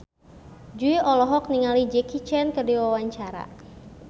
Jui olohok ningali Jackie Chan keur diwawancara